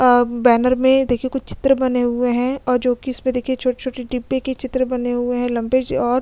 आ banner में देखिये कुछ चित्र बने हुए है और जोकि इसमें देखिये छोटे-छोटे डिब्बे के चित्र बने हुए है लम्बे और-- .